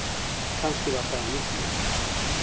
Kannski var það af nýtni.